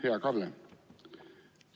Hea Kalle!